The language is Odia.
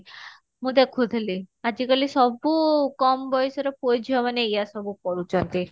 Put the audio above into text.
ମୁଁ ଦେଖୁଥିଲି ଆଜି କାଲି ସବୁ କମ ବୟସ ର ପୁଅ ଝିଅ ମାନେ ଏଇଆ ସବୁ କରୁଛନ୍ତି